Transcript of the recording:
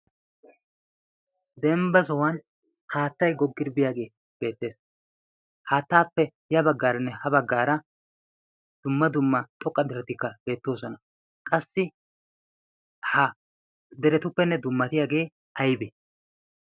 dembba sohuwan haattai goggiribiyaagee beettees haattaappe ya baggaaranne ha baggaara dumma dumma xoqqa deretikka beettoosona qassi ha deretuppenne dummatiyaagee aibe